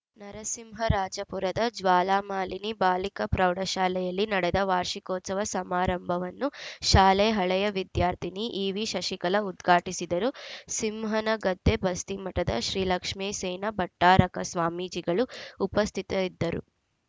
ನರಸಿಂಹರಾಜಪುರದ ಜ್ವಾಲಾಮಾಲಿನಿ ಬಾಲಿಕಾ ಪ್ರೌಢಶಾಲೆಯಲ್ಲಿ ನಡೆದ ವಾರ್ಷಿಕೋತ್ಸವ ಸಮಾರಂಭವನ್ನು ಶಾಲೆ ಹಳೆಯ ವಿದ್ಯಾರ್ಥಿನಿ ಇವಿ ಶಶಿಕಲಾ ಉದ್ಘಾಟಿಸಿದರು ಸಿಂಹನಗದ್ದೆ ಬಸ್ತಿಮಠದ ಶ್ರೀಲಕ್ಷ್ಮೇಸೇನ ಭಟ್ಟಾರಕ ಸ್ವಾಮೀಜಿಗಳು ಉಪಸ್ಥಿತರಿದ್ದರು